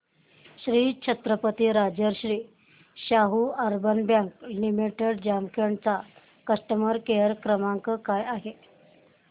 Shri Chhatrapati Rajarshi Shahu urban bank limited Jamkhed चा customer care क्रमांक काय आहे